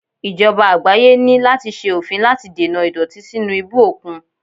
Ìjọba àgbáyé ní láti ṣe òfin láti dènà ìdọ̀tí sínú ibú òkun.